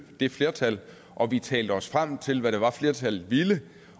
det flertal og vi talte os frem til hvad det var flertallet ville